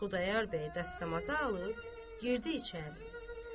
Xudayar bəy dəstəmazı alıb girdi içəri.